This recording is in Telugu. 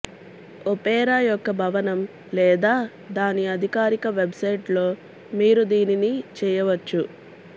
ఒపేరా యొక్క భవనం లేదా దాని అధికారిక వెబ్సైట్లో మీరు దీనిని చేయవచ్చు